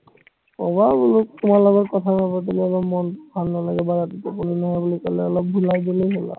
কবা বোলো তোমাৰ লগত কথা নাপাতিলে মোৰ মন ভাল নালাগে বা ৰাতিপুৱা শুব নোৱাৰো বুলি কলে অলপ ভোলাই দিলে হল আৰু